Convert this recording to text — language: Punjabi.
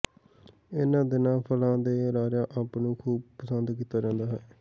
ਇਨ੍ਹਾਂ ਦਿਨਾਂ ਫਲਾਂ ਦੇ ਰਾਜਾ ਅੰਬ ਨੂੰ ਖ਼ੂਬ ਪਸੰਦ ਕੀਤਾ ਜਾਂਦਾ ਹੈ